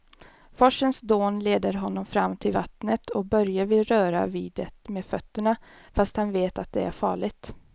Forsens dån leder honom fram till vattnet och Börje vill röra vid det med fötterna, fast han vet att det är farligt.